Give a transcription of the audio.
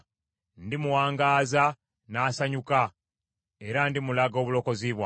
Ndimuwangaaza n’asanyuka era ndimulaga obulokozi bwange.”